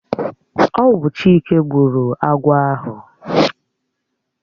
Ọwu Chike gburu agwọ̀ ahụ.